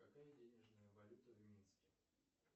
какая денежная валюта в минске